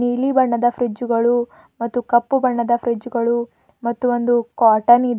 ನೀಲಿ ಬಣ್ಣದ ಫ್ರೀಜ್ ಗಳು ಮತ್ತು ಕಪ್ಪು ಬಣ್ಣದ ಫ್ರೀಜ್ ಗಳು ಮತ್ತು ಒಂದು ಕಾಟನ್ ಇದೆ.